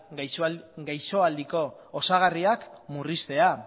gaixoaldiko osagarriak murriztea